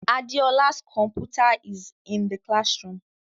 Adeola's computer is in the classroom.